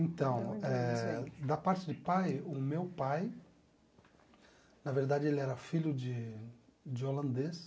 Então eh, da parte de pai, o meu pai, na verdade, ele era filho de de holandês.